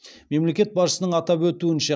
мемлекет басшысының атап өтуінше